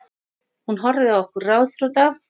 Hún horfði á okkur ráðþrota.